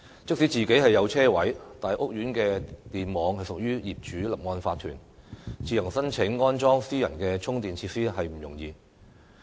即使自己擁有車位，但屋苑的電網屬於業主立案法團，自行申請安裝私人充電設施亦不容易。